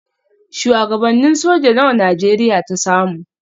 Shuwagabannin soja nawa Najeriya ta samu?